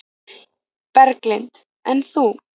Berghildur: En þú?